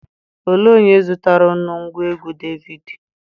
Olee onye zụtara unu ngwaegwu DVD?